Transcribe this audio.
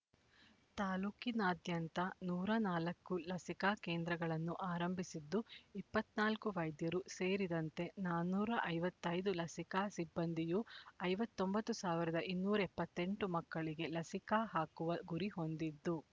ತಾಲ್ಲೂಕಿನಾದ್ಯಂತ ನೂರ ನಾಲ್ಕು ಲಸಿಕಾ ಕೇಂದ್ರಗಳನ್ನು ಆರಂಭಿಸಿದ್ದು ಇಪ್ಪತ್ತ್ ನಾಲ್ಕು ವೈದ್ಯರು ಸೇರಿದಂತೆ ನಾನೂರ ಐವತ್ತ್ ಐದು ಲಸಿಕಾ ಸಿಬ್ಬಂದಿಯೂ ಐವತ್ತ್ ಒಂಬತ್ತು ಸಾವಿರದ ಇನ್ನೂರ ಎಪ್ಪತ್ತೆಂಟು ಮಕ್ಕಳಿಗೆ ಲಸಿಕಾ ಹಾಕುವ ಗುರಿ ಹೊಂದಿದ್ದು